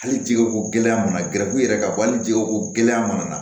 Hali jɛgɛ ko gɛlɛya mana gɛrɛ u yɛrɛ ka bɔ hali jɛgɛ ko gɛlɛya mana na